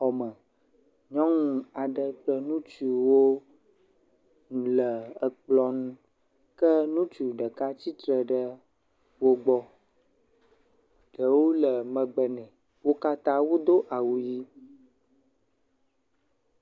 Xɔ me. Nyɔnu aɖe kple ŋutsuwo le ekplɔ ŋu. Ke ŋutsu ɖeka tsitre ɖe wo gbɔ. Ɖewo le megbe ne. wo katã wodo awu ʋi.